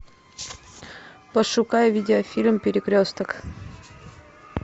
пошукай видео фильм перекресток